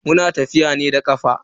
Muna tafiya ne da kafa.